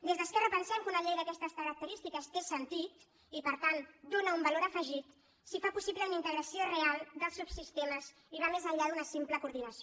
des d’esquerra pensem que una llei d’aquestes característiques té sentit i per tant dóna un valor afegit si fa possible una integració real dels subsistemes i va més enllà d’una simple coordinació